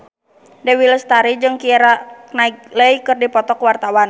Dewi Lestari jeung Keira Knightley keur dipoto ku wartawan